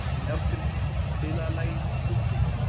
Járngrímur, spilaðu lagið „Bubbinn“.